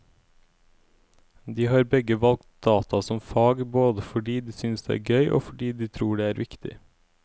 De har begge valgt data som fag både fordi de synes det er gøy og fordi de tror det er viktig.